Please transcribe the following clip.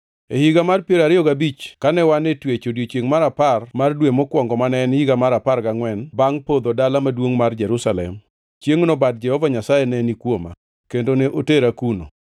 E higa mar piero ariyo gabich kane wan e twech; odiechiengʼ mar apar mar dwe mokwongo, mane en higa mar apar gangʼwen bangʼ podho mar dala maduongʼ mar Jerusalem; chiengʼno bad Jehova Nyasaye ne ni kuoma, kendo ne otera kuno.